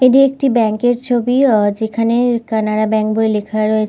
এটি একটি ব্যাংকের ছবি অ যেখানে কানাড়া ব্যাঙ্ক বলে লেখা রয়ে --